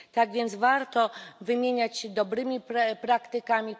Tak więc warto wymieniać się dobrymi praktykami.